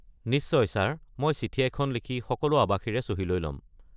নিশ্চয় ছাৰ মই চিঠি এখন লিখি সকলো আৱাসীৰে চহী লৈ ল’ম।